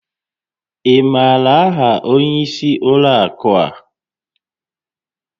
Ị maara áhà onyé ísí ụlọ àkú ha?